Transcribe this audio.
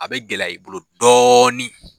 A bɛ gɛlɛya i bolo dɔɔnin.